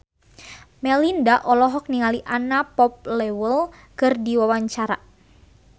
Melinda olohok ningali Anna Popplewell keur diwawancara